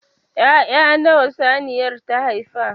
Ya'ya nawa saniyar ta haifa?